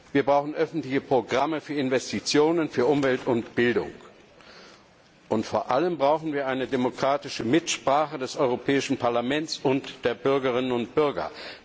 Wir brauchen öffentliche Programme für Investitionen für Umwelt und Bildung, und vor allem brauchen wir eine parlamentarische Mitsprache des Europäischen Parlaments und der Bürgerinnen und Bürger.